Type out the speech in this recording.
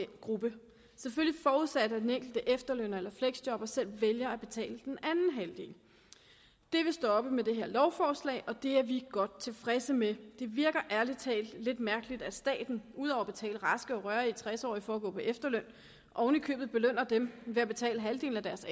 gruppe selvfølgelig forudsat at den enkelte efterlønner eller fleksjobber selv vælger at betale den anden halvdel det vil stoppe med det her lovforslag og det er vi godt tilfredse med det virker ærlig talt lidt mærkeligt at staten ud over at betale raske og rørige tres årige for at gå på efterløn oven i købet belønner dem ved at betale halvdelen af deres